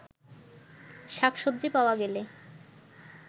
শাকসবজি পাওয়া গেলে